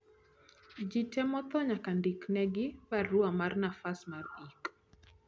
ji te motho nyaka ndiknegi barua mar nafas mar ik